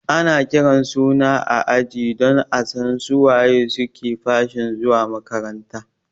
Ana kiran suna a aji don asan su waye suke fashin zuwa makaranta